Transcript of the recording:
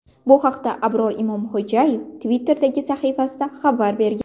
Bu haqda Abror Imomxo‘jayev Twitter’dagi sahifasida xabar bergan .